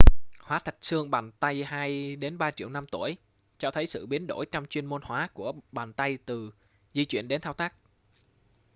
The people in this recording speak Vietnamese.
hóa thạch xương bàn tay hai đến ba triệu năm tuổi cho thấy sự biến đổi trong chuyên môn hóa của bàn tay từ di chuyển đến thao tác